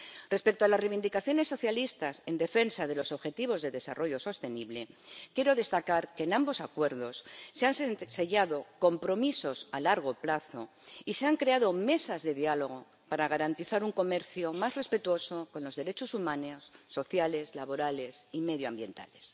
Respecto a las reivindicaciones socialistas en defensa de los objetivos de desarrollo sostenible, quiero destacar que en ambos Acuerdos se han sellado compromisos a largo plazo y se han creado mesas de diálogo para garantizar un comercio más respetuoso con los derechos humanos, sociales, laborales y medioambientales.